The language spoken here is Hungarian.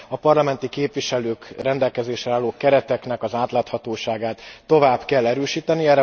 A parlamenti képviselők rendelkezésre álló kereteknek az átláthatóságát tovább kell erősíteni.